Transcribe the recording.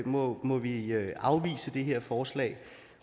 må må vi vi afvise det her forslag